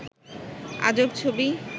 আজব ছবি